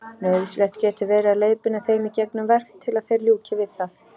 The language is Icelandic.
Nauðsynlegt getur verið að leiðbeina þeim í gegnum verk til að þeir ljúki við það.